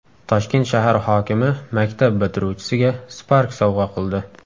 Toshkent shahar hokimi maktab bitiruvchisiga Spark sovg‘a qildi.